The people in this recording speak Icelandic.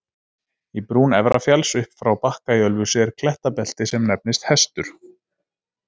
Í brún Efrafjalls upp frá Bakka í Ölfusi er klettabelti sem nefnist Hestur.